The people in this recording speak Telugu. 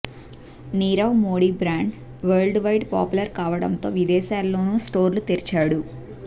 Nirav Modi brand world wide popular కావడంతో విదేశాల్లోనూ స్టోర్లు తెరిచాడు